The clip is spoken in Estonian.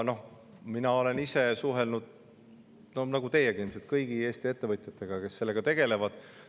Ma olen ise suhelnud nagu teiegi ilmselt kõigi Eesti ettevõtjatega, kes sellega tegelevad.